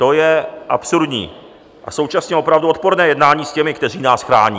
To je absurdní a současně opravdu odporné jednání s těmi, kteří nás chrání.